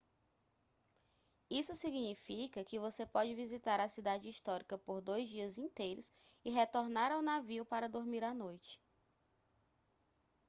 isso significa que você pode visitar a cidade histórica por dois dias inteiros e retornar ao navio para dormir à noite